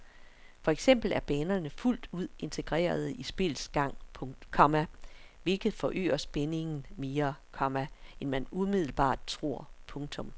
For eksempel er banerne fuldt ud integrerede i spillets gang, komma hvilket forøger spændingen mere, komma end man umiddelbart tror. punktum